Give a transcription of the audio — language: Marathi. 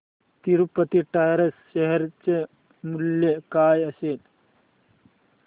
तिरूपती टायर्स शेअर चे मूल्य काय असेल